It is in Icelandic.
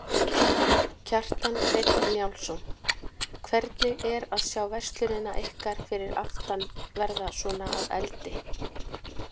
Kjartan Hreinn Njálsson: Hvernig er að sjá verslunina ykkar fyrir aftan verða svona að eldi?